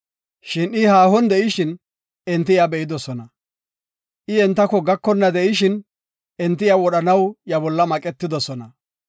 Shin I haahon de7ishin, enti iya be7idosona. I entako gakonna de7ishin, wodhanaw iya bolla maqetidosona.